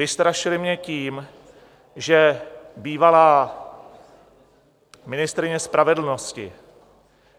Vystrašily mě tím, že bývalá ministryně spravedlnosti,